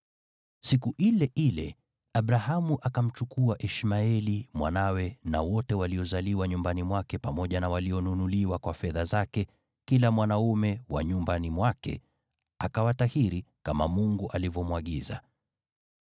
Siku ile ile, Abrahamu akamchukua Ishmaeli mwanawe na wote waliozaliwa nyumbani mwake pamoja na walionunuliwa kwa fedha zake, kila mwanaume wa nyumbani mwake, akawatahiri, kama Mungu alivyomwagiza.